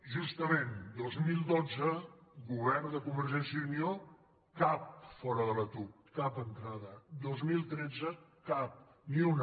justament dos mil dotze govern de convergència i unió cap fora de la tuc cap entrada dos mil tretze cap ni una